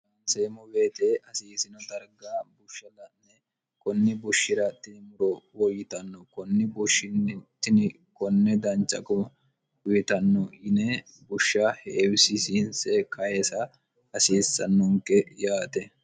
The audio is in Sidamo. lonseemmo weete hasiisino darga bushsha la'ne kunni bushshi'rattini muro woyyitanno kunni bushshinni tini konne dancha guma uyitanno yine bushsha heewisisiinse kayiisa hasiissannonke yaate